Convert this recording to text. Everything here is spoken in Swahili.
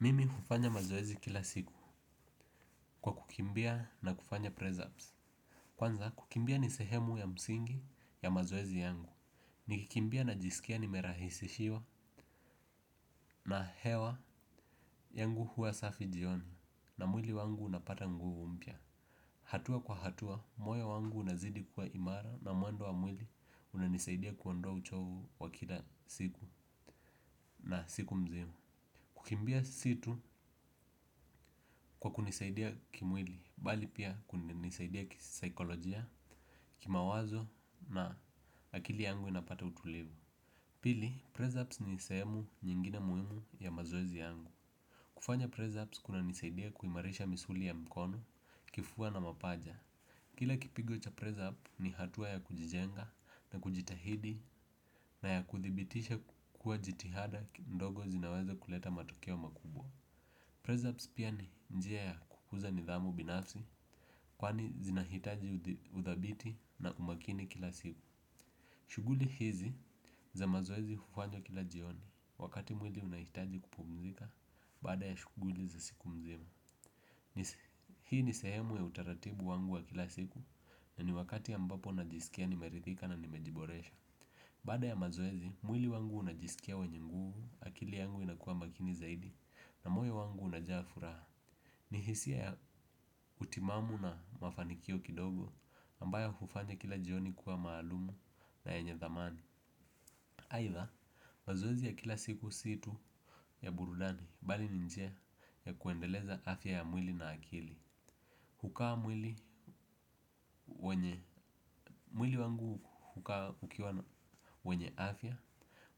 Mimi hufanya mazoezi kila siku kwa kukimbia na kufanya press-ups. Kwanza kukimbia nisehemu ya msingi ya mazoezi yangu. Nikikimbia na jisikia nimerahisishiwa na hewa yangu huwa safi jioni na mwili wangu unapata nguvu mpya. Hatua kwa hatua moyo wangu unazidi kuwa imara na muendo wa mwili unanisaidia kuondoa uchovu wa kila siku na siku mzima, kukimbia si tu kwa kunisaidia kimwili bali pia kunisaidia kisaikolojia, kimawazo na akili yangu inapata utulivu. Pili, Prez-ups nisehemu nyingine muhimu ya mazoezi yangu. Kufanya Prez-ups kunanisaidia kuimarisha misuli ya mkono, kifua na mapaja. Kila kipigo cha Prez-up ni hatua ya kujijenga na kujitahidi na ya kuthibitisha kukua jitihada ki ndogo zinaweza kuleta matokeo makubwa. Prez-ups pia ni njia ya kukuza nidhamu binafsi kwani zinahitaji udhabiti na umakini kila siku. Shuguli hizi za mazoezi hufanywa kila jioni wakati mwili unahitaji kupumzika baada ya shuguli za siku mzima. Hii ni sehemu ya utaratibu wangu wa kila siku na ni wakati ambapo najisikia nimeridhika na nimejiboresha. Bada ya mazoezi, mwili wangu unajisikia wenye nguvu akili yangu inakua makini zaidi na mwili wangu unajaa furaha. Ni hisia ya utimamu na mafanikio kidogo ambayo hufanya kila jioni kuwa maalumu na yenye dhamani. Aidha, mazoezi ya kila siku si tu ya burudani bali ni njia ya kuendeleza afya ya mwili na akili, kukaa mwili mwili wangu hukaa ukiwa na wenye afya,